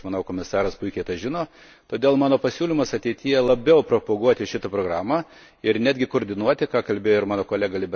Ir aš manau, komisaras puikiai tai žino, todėl mano pasiūlymas ateityje labiau propaguoti šitą programą ir netgi koordinuoti, ką kalbėjo ir mano kolega B.